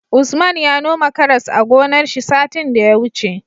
Usman ya noma karas a gonar shi satin da ya wuce